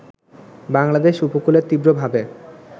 বাংলাদেশ উপকূলে তীব্রভাবে